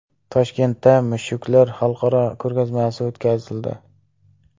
Toshkentda mushuklar xalqaro ko‘rgazmasi o‘tkazildi .